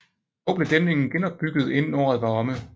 Dog blev dæmningen genopbygget inden året var omme